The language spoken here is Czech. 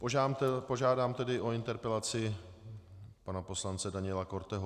Požádám tedy o interpelaci pana poslance Daniela Korteho.